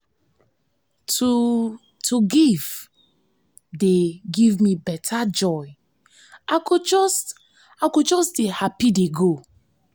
to to give dey give me beta joy i go just i go just dey happy dey go